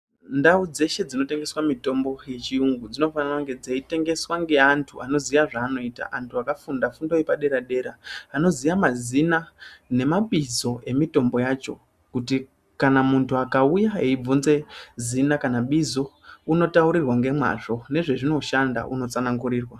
Ndao dzeshe dzinotengeswa mitombo yechiyungo dzinofana kunge dzeitengeswa ngeantu anozive zvanoita antu akafunda fundo yepaderadera anoziya mazina ngemabizo emitombo yacho kuti kana muntu akauya eibvunze zina kana bizo unotaurirwa ngemazvo ngezvazvinoshanda unotaurirwa .